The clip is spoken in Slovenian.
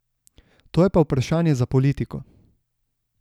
To je pa vprašanje za politiko.